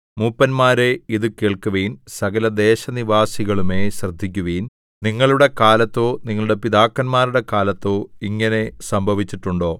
മൂപ്പന്മാരേ ഇതുകേൾക്കുവിൻ സകല ദേശനിവാസികളുമേ ശ്രദ്ധിയ്ക്കുവിൻ നിങ്ങളുടെ കാലത്തോ നിങ്ങളുടെ പിതാക്കന്മാരുടെ കാലത്തോ ഇങ്ങനെ സംഭവിച്ചിട്ടുണ്ടോ